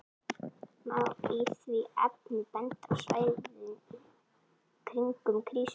Má í því efni benda á svæðin kringum Krýsuvík